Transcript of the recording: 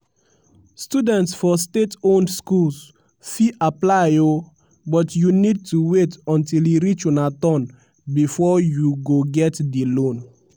students for state-owned schools fit apply o but you need to wait until e reach una turn bifor you go get di loan.